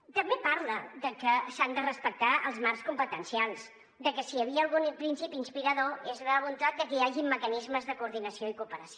i també parla de que s’han de respectar els marcs competencials de que si hi havia algun principi inspirador és la voluntat de que hi hagin mecanismes de coordinació i cooperació